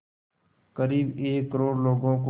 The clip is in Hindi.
क़रीब एक करोड़ लोगों को